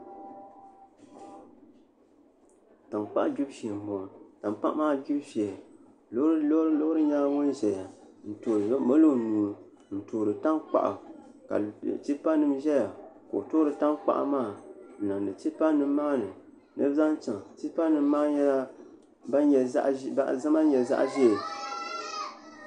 Tankpaɣu gbibu shee n boŋo tankpaɣu maa gbibu shee loori nyɛla ŋun ʒɛya n mali o nuu n toori tankpaɣu ka tipa nim ʒɛya ka o toori tankpaɣu maa n niŋdi tipa nim maa ni ni bi zaŋ chɛŋ tipa nim maa nyɛla bin nyɛ zaɣ ʒiɛ